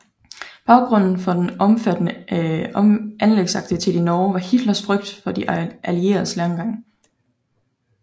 Baggrunden for den omfattende anlægsaktivitet i Norge var Hitlers frygt for De Allieredes landgang